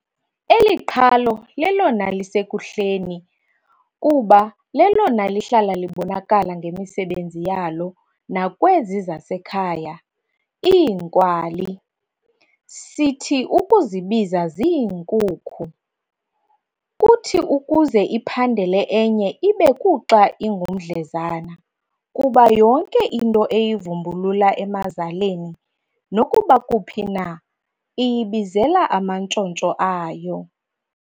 Eli qhalo lelona lisekuhleni, kuba lelona lihlala libonakala ngemisebenzi yalo nakwezi zasekhaya "iinkwali"sithi ukuzibiza ziinkukhu. Kuthi ukuze iphandele ezinye ibe kuxa ingumdlezana, kuba yonke into eyivumbulula emazaleni, nokuba kuphi na, iyibizela amantshontsho ayo.